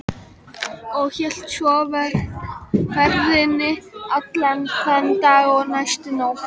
Og hélt svo ferðinni allan þann dag og næstu nótt.